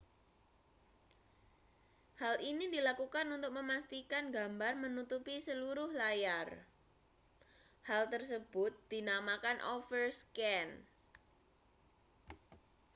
hal ini dilakukan untuk memastikan gambar menutupi seluruh layar hal tersebut dinamakan overscan